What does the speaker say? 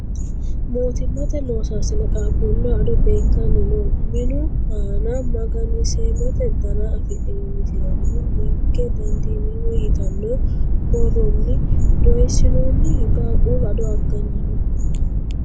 Mootimate loosaasine qaaqqulleho ado beekkanni no. Minu aana magani-seemmote dana afidhino misilenni ''ninke dandiineemmo ''yitanno borronni doyissinoonni. Qaaquulu ado aganni no.